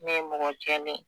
Ne ye mɔgɔ jɛlen ye